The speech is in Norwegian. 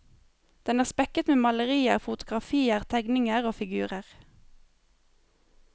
Den er spekket med malerier, fotografier, tegninger og figurer.